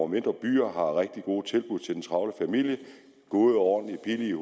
mindre byer har rigtig gode tilbud til den travle familie gode ordentlige